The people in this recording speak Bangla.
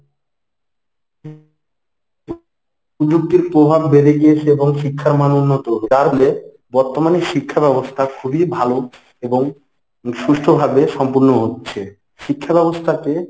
প্রযুক্তির প্রভাব বেড়ে গিয়ছে এবং শিক্ষার মান উন্নত বর্তমানে শিক্ষাব্যবস্থা খুবই ভালো এবং সুষ্ঠভাবে সম্পন্ন হচ্ছে। শিক্ষাব্যবস্থাকে